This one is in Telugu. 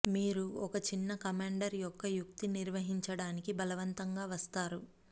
మీరు ఒక చిన్న కమాండర్ యొక్క యుక్తి నిర్వహించడానికి బలవంతంగా వస్తారు